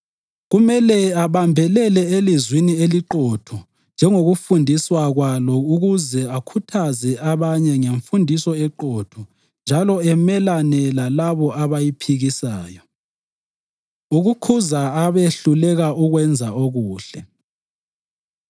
Kumele abambelele elizwini eliqotho njengokufundiswa kwalo ukuze akhuthaze abanye ngemfundiso eqotho njalo amelane lalabo abayiphikisayo. Ukukhuza Abehluleka Ukwenza Okuhle